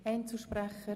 Einzelsprechende